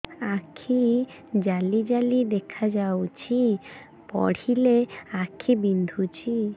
ଆଖି ଜାଲି ଜାଲି ଦେଖାଯାଉଛି ପଢିଲେ ଆଖି ବିନ୍ଧୁଛି